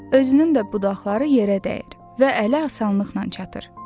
Özünün də budaqları yerə dəyir və ələ asanlıqla çatır.